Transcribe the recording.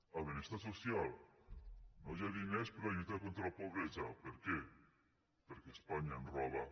a benestar social no hi ha diners per a lluitar contra la pobresa per què perquè espanya ens roba